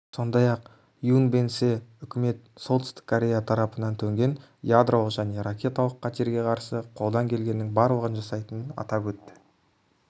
сондай-ақ юн бен сэ үкімет солтүстік корея тарапынан төнген ядролық және ракеталық қатерге қарсы қолдан келгеннің барлығын жасайтынын атап өтті